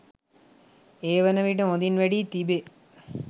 ඒ වනවිට හොදින් වැඩී තිබේ